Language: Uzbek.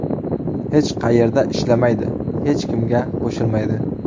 Hech qayerda ishlamaydi, hech kimga qo‘shilmaydi.